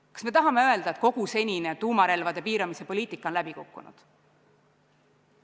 Kas me tahame öelda, et kogu senine tuumarelvade piiramise poliitika on läbi kukkunud?